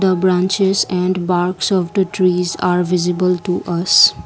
the branches and barks of the trees are visible to us.